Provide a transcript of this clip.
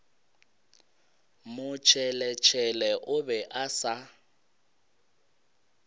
motšheletšhele o be a sa